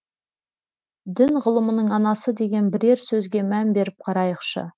дін ғылымның анасы деген бірер сөзге мән беріп қарайықшы